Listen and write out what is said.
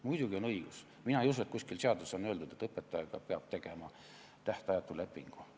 Muidugi on õigus, mina ei usu, et kuskil seaduses on öeldud, et õpetajaga peab tegema tähtajatu lepingu.